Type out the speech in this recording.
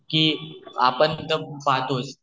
की आपण तर पहातोच